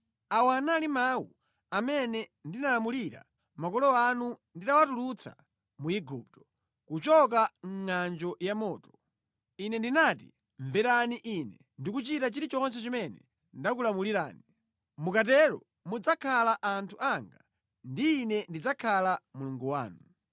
Awa anali mawu amene ndinalamulira makolo anu nditawatulutsa mu Igupto, kuchoka mʼngʼanjo yamoto.’ Ine ndinati, ‘Mverani Ine ndi kuchita chilichonse chimene ndakulamulirani. Mukatero mudzakhala anthu anga ndi Ine ndidzakhala Mulungu wanu.